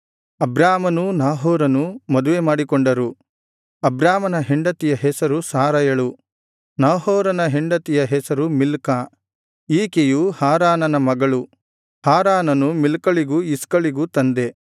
ಅಬ್ರಾಮನೂ ನಾಹೋರನೂ ಮದುವೆಮಾಡಿಕೊಂಡರು ಅಬ್ರಾಮನ ಹೆಂಡತಿಯ ಹೆಸರು ಸಾರಯಳು ನಾಹೋರನ ಹೆಂಡತಿಯ ಹೆಸರು ಮಿಲ್ಕಾ ಈಕೆಯು ಹಾರಾನನ ಮಗಳು ಹಾರಾನನು ಮಿಲ್ಕಳಿಗೂ ಇಸ್ಕಳಿಗೂ ತಂದೆ